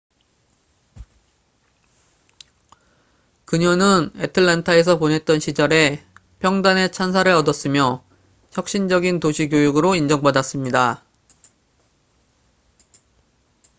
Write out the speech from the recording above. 그녀는 애틀랜타에서 보냈던 시절에 평단의 찬사를 얻었으며 혁신적인 도시 교육으로 인정받았습니다